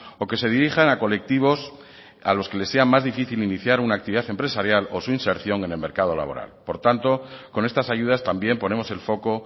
o que se dirijan a colectivos a los que les sea más difícil iniciar una actividad empresarial o su inserción en el mercado laboral por tanto con estas ayudas también ponemos el foco